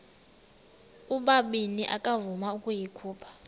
ubabini akavuma ukuyikhupha